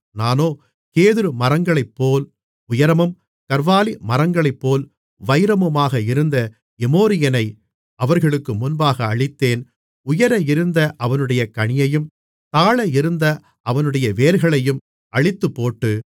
நானோ கேதுருமரங்களைப்போல் உயரமும் கர்வாலி மரங்களைப்போல் வைரமுமாக இருந்த எமோரியனை அவர்களுக்கு முன்பாக அழித்தேன் உயர இருந்த அவனுடைய கனியையும் தாழ இருந்த அவனுடைய வேர்களையும் அழித்துப்போட்டு